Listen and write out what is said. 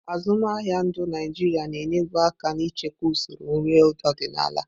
Azụmaahịa ndu Naịjirịa na-enyebu aka n'ichekwa usoro nri ọdịnala.